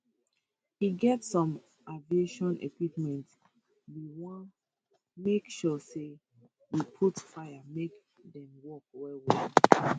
e get some aviation equipment we wan make sure say we put fire make dem work wellwell